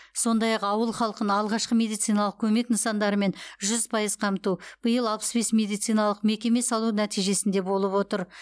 сондай ақ ауыл халқын алғашқы медициналық көмек нысандарымен жүз пайыз қамту биыл алпыс бес медициналық мекеме салу нәтижесінде болып отыр